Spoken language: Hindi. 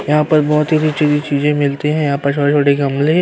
यहाँ पर बहोत ही बेची हुई चीजें मिलती हैं। यहाँ पर छोटे-छोटे गमले --